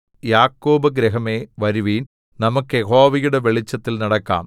യാക്കോബ് ഗൃഹമേ വരുവിൻ നമുക്കു യഹോവയുടെ വെളിച്ചത്തിൽ നടക്കാം